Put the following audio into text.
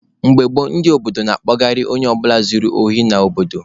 Mgbe gboo, ndị obodo na-akpụgharị onye ọ bụla zuru ohi n'obodo.